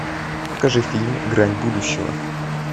покажи фильм грань будущего